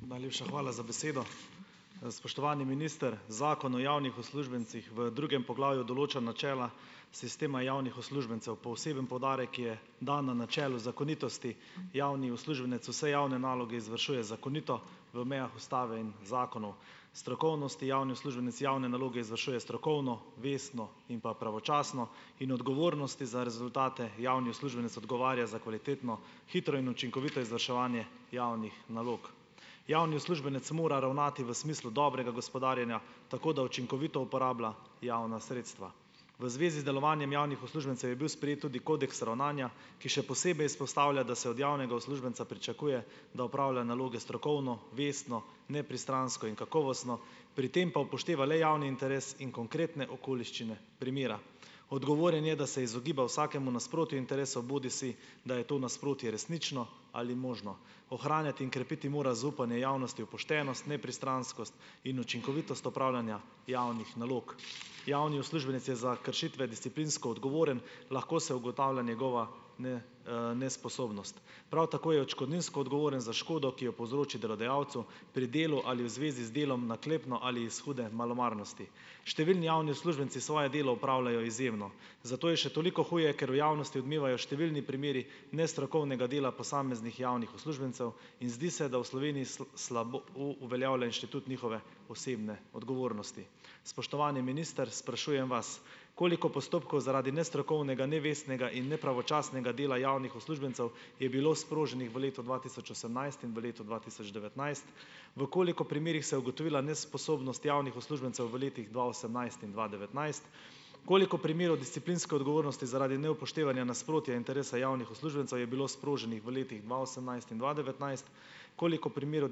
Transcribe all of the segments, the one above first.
Najlepša hvala za besedo. spoštovani minister! Zakon o javnih uslužbencih v drugem poglavju določa načela sistema javnih uslužbencev. Poseben poudarek je dan na načelu zakonitosti. Javni uslužbenec vse javne naloge izvršuje zakonito v mejah ustave in zakonov. Strokovnosti javni uslužbenec javne naloge izvršuje strokovno, vestno in pa pravočasno in odgovornosti za rezultate javni uslužbenec odgovarja za kvalitetno, hitro in učinkovito izvrševanje javnih nalog. Javni uslužbenec mora ravnati v smislu dobrega gospodarjenja, tako da učinkovito uporablja javna sredstva. V zvezi z delovanjem javnih uslužbencev je bil sprejet tudi kodeks ravnanja, ki še posebej izpostavlja, da se od javnega uslužbenca pričakuje, da opravlja naloge strokovno, vestno, nepristransko in kakovostno, pri tem pa upošteva le javni interes in konkretne okoliščine primera. Odgovoren je, da se izogiba vsakemu nasprotju interesov, bodisi da je to nasprotje resnično ali možno. Ohranjati in krepiti mora zaupanje javnosti v poštenost, nepristranskost in učinkovitost upravljanja javnih nalog. Javni uslužbenec je za kršitve disciplinsko odgovoren, lahko se ugotavlja njegova nesposobnost. Prav tako je odškodninsko odgovoren za škodo, ki jo povzroči delodajalcu pri delu ali v zvezi z delom naklepno ali iz hude malomarnosti. Številni javni uslužbenci svoje delo opravljajo izjemno, zato je še toliko huje, ker v javnosti odmevajo številni primeri nestrokovnega dela posameznih javnih uslužbencev, in zdi se, da v Sloveniji uveljavlja inštitut njihove osebne odgovornosti. Spoštovani minister, sprašujem vas: Koliko postopkov zaradi nestrokovnega, nevestnega in nepravočasnega dela javnih uslužbencev je bilo sproženih v letu dva tisoč osemnajst in v letu dva tisoč devetnajst? V koliko primerih se je ugotovila nesposobnost javnih uslužbencev v letih dva osemnajst in dva devetnajst? Koliko primerov disciplinske odgovornosti zaradi neupoštevanja nasprotja interesa javnih uslužbencev je bilo sproženih v letih dva osemnajst in dva devetnajst? Koliko primerov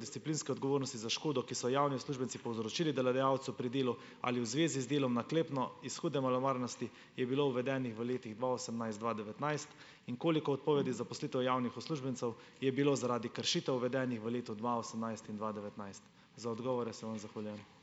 disciplinske odgovornosti za škodo, ki so jo javni uslužbenci povzročili delodajalcu pri delu ali v zvezi z delom naklepno, iz hude malomarnosti, je bilo uvedenih v letih dva osemnajst, dva devetnajst? In koliko odpovedi zaposlitev javnih uslužbencev je bilo zaradi kršitev uvedenih v letu dva osemnajst in dva devetnajst? Za odgovore se vam zahvaljujem.